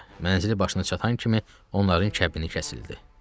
Mənzili başına çatan kimi onların kəbini kəsildi.